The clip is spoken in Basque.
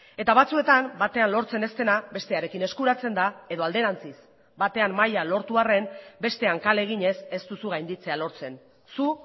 eta batzuetan batean lortzen ez dena bestearekin eskuratzen da edo alderantziz batean maila lortu arren bestean kale eginez ez duzu gainditzea lortzen zu